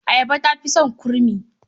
Ayaba ta fi son kurmi.